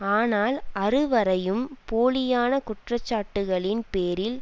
ஆனால் அறுவரையும் போலியான குற்றச்சாட்டுக்களின் பேரில்